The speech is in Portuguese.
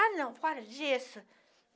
Ah, não, fora disso.